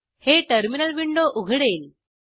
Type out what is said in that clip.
हे terminal window उघडेल